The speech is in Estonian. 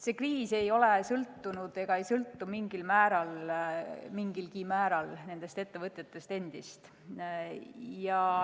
See kriis ei ole sõltunud ega sõltu mingilgi määral nendest ettevõtjatest endist.